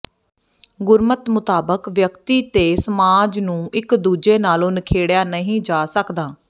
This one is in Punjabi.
ਗੁਰਮਤਿ ਮੁਤਾਬਕ ਵਿਅਕਤੀ ਤੇ ਸਮਾਜ ਨੂੰ ਇੱਕ ਦੂਜੇ ਨਾਲੋਂ ਨਿਖੇੜਿਆ ਨਹੀਂ ਜਾ ਸਕਦਾ